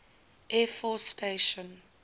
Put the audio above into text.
air force station